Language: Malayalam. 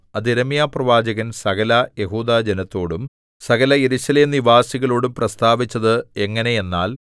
അത് യിരെമ്യാപ്രവാചകൻ സകല യെഹൂദാജനത്തോടും സകല യെരൂശലേം നിവാസികളോടും പ്രസ്താവിച്ചത് എങ്ങനെയെന്നാൽ